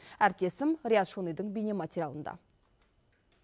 әріптесім риат шонидың бейнематериалында